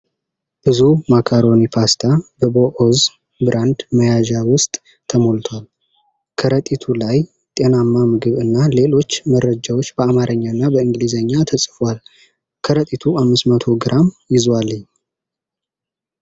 ብዙ ማካሮኒ ፓስታ በቦኦዝ ብራንድ መያዣ ውስጥ ተሞልቷል። ከረጢቱ ላይ "ጤናማ ምግብ" እና ሌሎች መረጃዎች በአማርኛ እና በእንግሊዝኛ ተጽፏል። ከረጢቱ 500 ግራም ይዟል።